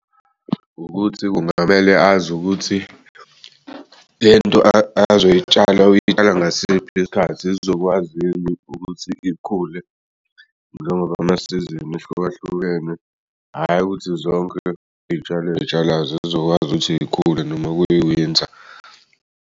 Ukuthi kungamele azi ukuthi lento azoy'tshala ukuyitshala ngasiphi isikhathi zizokwazi yini ukuthi ikhule njengoba'masizini ehlukahlukene hhayi ukuthi zonke iy'tshalo ozitshalayo zizokwazi ukuthi zikhule noma kwi-winter.